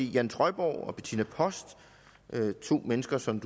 jan trøjborg og bettina post to mennesker som